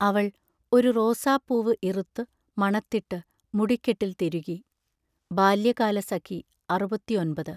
അവൾ ഒരു റോസാപ്പൂവ് ഇറുത്തു മണത്തിട്ടു മുടിക്കെട്ടിൽ തിരുകി. ബാല്യകാലസഖി (അറുപത്തിയൊൻപത് )